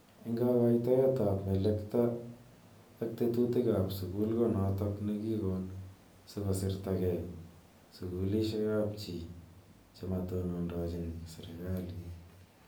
Ako kakoitoiet ab melekto ak tetutik ab sukul ko notok ne kikon siko sirta kei sukulishi ap chii chematonondochin serikalit.